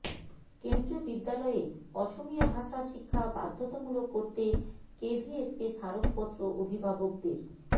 কেন্দ্ৰীয় বিদ্যালয়ে অসমিয়া ভাষা শিক্ষা বাধ্যতামূলক করতে কেভিএসকে স্মারকপত্ৰ অভিভাবকদের